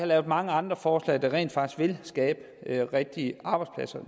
lavet mange andre forslag der rent faktisk vil skabe rigtige arbejdspladser